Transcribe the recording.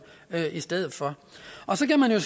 i stedet for og så kan man jo